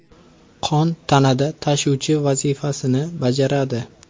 Qon tanada tashuvchi vazifasini bajaradi.